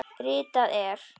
Ritað er